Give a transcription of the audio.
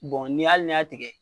ni ye hali n'i y'a tigɛ.